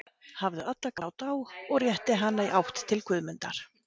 Hafðu alla gát á, og rétti hana í átt til Guðmundar.